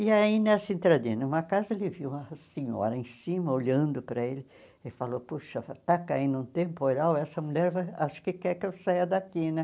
E aí, nessa entradinha de uma casa, ele viu uma senhora em cima, olhando para ele, e falou, poxa, está caindo um temporal, essa mulher acho que quer que eu saia daqui, né?